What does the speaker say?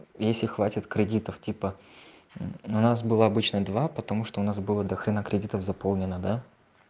если хватит кредитов типа у нас было обычно два потому что у нас было до хрена кредитов заполнено да